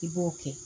I b'o kɛ